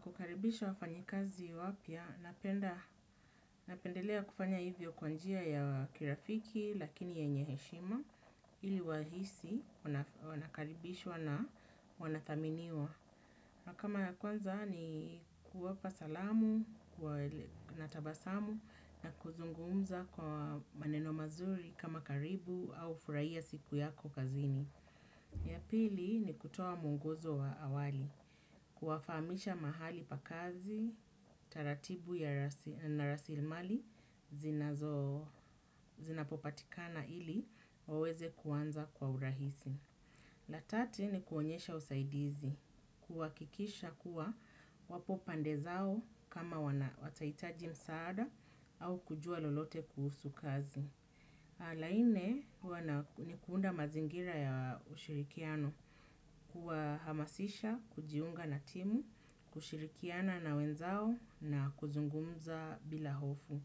Kukaribisha wafanyikazi wapya, napendelea kufanya hivyo kwa njia ya kirafiki lakini yenye heshima ili wahisi wanakaribishwa na wanathaminiwa. Na kama ya kwanza ni kuwapa salamu, natabasamu na kuzungumza kwa maneno mazuri kama karibu au furahia siku yako kazini. Ya pili ni kutoa mwongozo wa awali, kuwafamisha mahali pa kazi, taratibu na rasilmali, zinapopatikana ili, waweze kuanza kwa urahisi. La tati ni kuonyesha usaidizi, kuhakikisha kuwa wapopande zao kama watahitaji msaada au kujua lolote kuhusu kazi. Na la nne ni kuunda mazingira ya ushirikiano kuwahamasisha, kujiunga na timu, kushirikiana na wenzao na kuzungumza bila hofu.